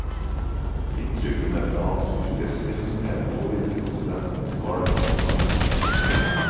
Inntrykkene fra hans yrkesvirksomhet påvirket studentens valg av utdannelse.